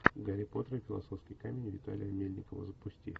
гарри поттер и философский камень виталия мельникова запусти